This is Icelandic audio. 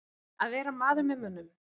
Að vera maður með mönnum